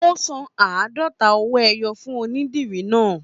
Ó san àádọ́ta owó ẹyọ fún onídìrí náà